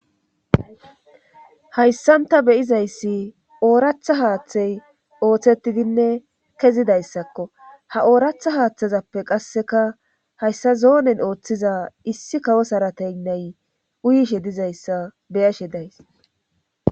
Hayssan ta beyizayssi ooratha haaththey ooththetidinne kezidayssakko ha ooratha haaththazappe qasseka hayssa zoonen ooththiza issi kawo sarateynney uyishe dizayssa beyashe days.